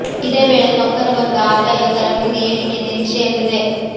ಇದೇ ವೇಳೆ ನೌಕರ ವರ್ಗ ಆದಾಯ ಕರ ಮಿತಿ ಏರಿಕೆ ನಿರೀಕ್ಷೆಯಲ್ಲಿದೆ